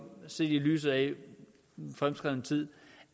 set i lyset af den fremskredne tid